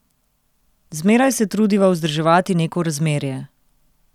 Zmeraj se trudiva vzdrževati neko razmerje.